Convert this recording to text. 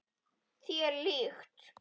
Þér líkt.